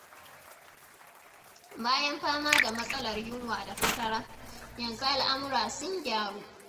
Bayan fama da matsalar yunwa da fatara, yanzu al'amura sun gyaru.